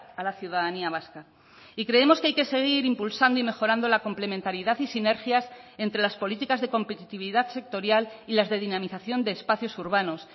a la ciudadanía vasca y creemos que hay que seguir impulsando y mejorando la complementariedad y sinergias entre las políticas de competitividad sectorial y las de dinamización de espacios urbanos